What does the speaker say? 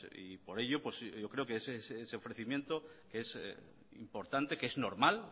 y por ello yo creo que ese ofrecimiento es importante que es normal